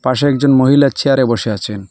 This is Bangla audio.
পাশে একজন মহিলা চেয়ারে বসে আছেন।